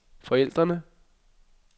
forældrene